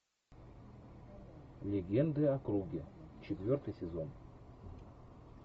легенды о круге четвертый сезон